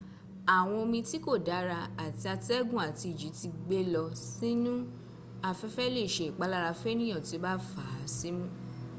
àwọn omi tí kò dára tí atẹ́gùn àti ìjì ti gbé lọ sínu afẹ́fẹ́ lè ṣe ìpalára fénìyàn tí ó bá fà á símú